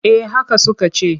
Eh haka suka ce.